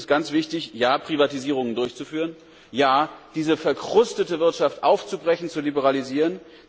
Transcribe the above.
Deswegen ist es ganz wichtig, ja, Privatisierungen durchzuführen, ja, diese verkrustete Wirtschaft aufzubrechen, zu liberalisieren.